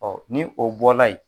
ni o bɔla yen